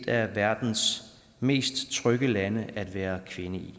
af verdens mest trygge lande at være kvinde i